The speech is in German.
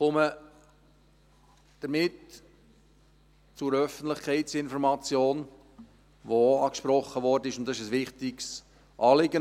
Ich komme damit zur Öffentlichkeitsinformation, die auch angesprochen wurde, und das ist ein wichtiges Anliegen.